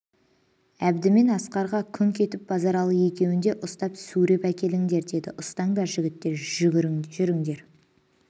әбді мен асқарға күңқ етіп базаралы екеуін де ұстап сүйреп әкеліңдер деді ұстаңдар жігіттер жүріңдер